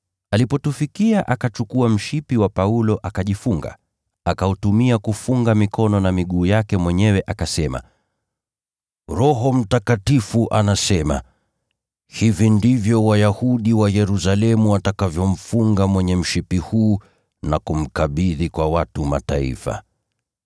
Alipotufikia akachukua mshipi wa Paulo akajifunga, akautumia kufunga mikono na miguu yake mwenyewe akasema, “Roho Mtakatifu anasema: ‘Hivi ndivyo Wayahudi wa Yerusalemu watakavyomfunga mwenye mshipi huu na kumkabidhi kwa watu wa Mataifa.’ ”